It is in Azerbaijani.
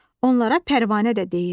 Onlara pərvanə də deyirlər.